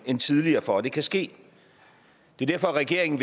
end tidligere for at det kan ske det er derfor at regeringen